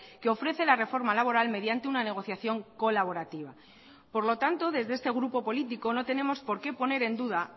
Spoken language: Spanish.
que ofrece la reforma laboral mediante una negociación colaborativa por lo tanto desde este grupo político no tenemos por qué poner en duda